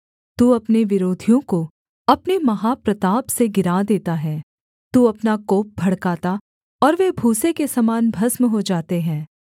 तू अपने विरोधियों को अपने महाप्रताप से गिरा देता है तू अपना कोप भड़काता और वे भूसे के समान भस्म हो जाते हैं